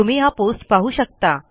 तुम्ही हा पोस्ट पाहू शकता